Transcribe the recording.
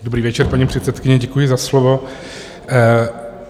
Dobrý večer, paní předsedkyně, děkuji za slovo.